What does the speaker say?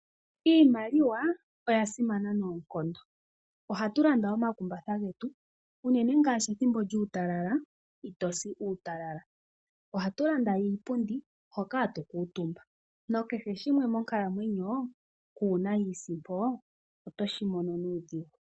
Iimaliwa oya simana noonkondo, ohatu landa omakumbatha getu, unene ngaashi ethimbo lyuutalala ito si uutalala. Ohatu landa iipundi, hoka hatu kuutumba nakehe shimwe monkalamwenyo, kuuna iisimpo oto shi mono nuudhigu.